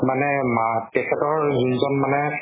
মানে মা তেখেতৰ যিজন মানে